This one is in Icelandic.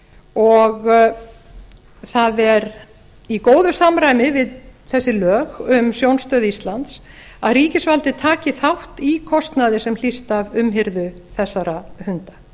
og það er í góðu samræmi við þessi lög um sjónstöð íslands að ríkisvaldið taki þátt í kostnaði sem hlýst af umhirðu þessara hunda